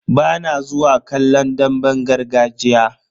Bana zuwa kallon damben gargajiya.